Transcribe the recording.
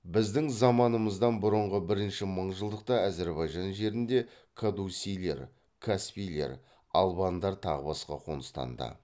біздің заманымыздан бұрынғы бірінші мыңжылдықта әзірбайжан жерінде кадусилер каспилер албандар тағы басқа қоныстанды